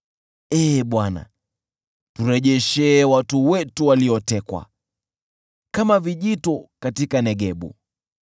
Ee Bwana , turejeshee watu wetu waliotekwa, kama vijito katika Negebu.